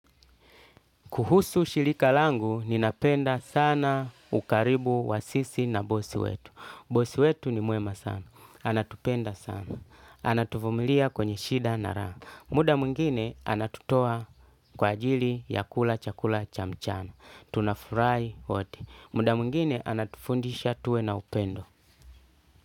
Kuhusu shilika langu, ninapenda sana ukaribu wa sisi na bosi wetu. Bosi wetu ni muema sana. Anatupenda sana. Anatufumilia kwenye shida na ra. Muda mungine anatutoa kwa ajili ya kula chakula cha mchana. Tunafurahi wote. Muda mwingine anatufundisha tuwe na upendo.